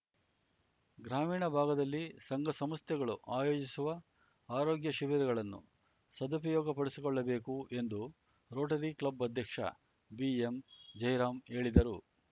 ಗ್ರಾಮೀಣ ಭಾಗದಲ್ಲಿ ಸಂಘ ಸಂಸ್ಥೆಗಳು ಆಯೋಜಿಸುವ ಆರೋಗ್ಯ ಶಿಬಿರಗಳನ್ನು ಸದುಪಯೋಗಪಡಿಸಿಕೊಳ್ಳಬೇಕು ಎಂದು ರೋಟರಿ ಕ್ಲಬ್‌ ಅಧ್ಯಕ್ಷ ಬಿಎಂ ಜಯರಾಮ್‌ ಹೇಳಿದರು